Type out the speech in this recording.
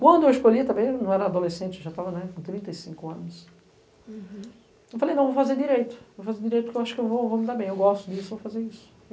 Quando eu escolhi, eu não era adolescente, eu já estava com trinta e cinco anos, eu falei, não, eu vou fazer direito, eu acho que eu vou me dar bem, eu gosto disso, eu vou fazer isso.